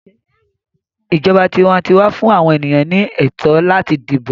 ìjọba tiwantiwa fún àwọn ènìyàn ní ẹtọ láti dibo.